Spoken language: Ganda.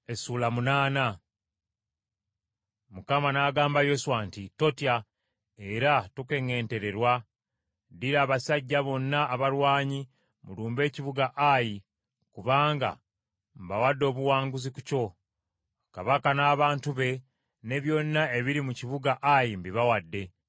Mukama n’agamba Yoswa nti, “Totya era tokeŋŋentererwa, ddira abasajja bonna abalwanyi mulumbe ekibuga Ayi kubanga mbawadde obuwanguzi ku kyo. Kabaka, n’abantu be, ne byonna ebiri mu kibuga Ayi mbibawadde.